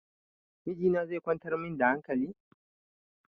Miji na ne zai kwantar min da hankali?